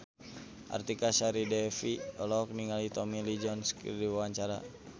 Artika Sari Devi olohok ningali Tommy Lee Jones keur diwawancara